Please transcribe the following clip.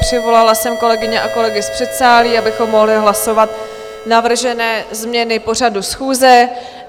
Přivolala jsem kolegyně a kolegy z předsálí, abychom mohli hlasovat navržené změny pořadu schůze.